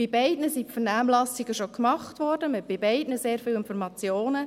bei beiden wurden die Vernehmlassungen schon gemacht, zu beiden hat man sehr viele Informationen.